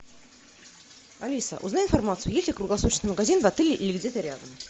алиса узнай информацию есть ли круглосуточный магазин в отеле или где то рядом